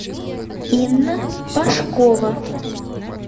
инна пашкова